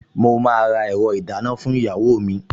Mo máa ra ẹ̀rọ ìdáná fún ìyàwó mi